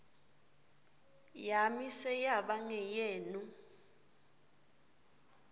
yami seyaba ngeyenu